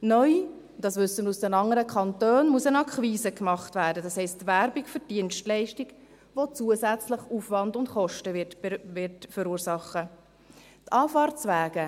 Neu – dies wissen wir aus den anderen Kantonen – muss eine Akquise gemacht werden, das heisst: Werbung für die Dienstleistung, die zusätzlich Aufwand und Kosten verursachen wird.